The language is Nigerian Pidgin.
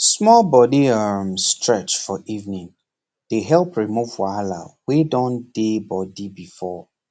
small body um stretch for evening dey help remove wahala wen don dey body before